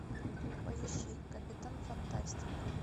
поищи капитан фантастик